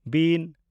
ᱵᱤᱱ